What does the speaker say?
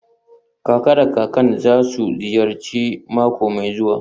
Kaka da kakan za su ziyarci mako mai zuwa.